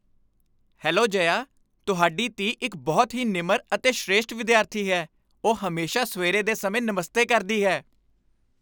Hello Jaya, ਤੁਹਾਡੀ ਧੀ ਇੱਕ ਬਹੁਤ ਹੀ ਨਿਮਰ ਅਤੇ ਸ੍ਰੇਸ਼ਠ ਵਿਦਿਆਰਥੀ ਹੈ। ਉਹ ਹਮੇਸ਼ਾ ਸਵੇਰੇ ਦੇ ਸਮੇਂ ਨਮਸਤੇ ਕਰਦੀ ਹੈ।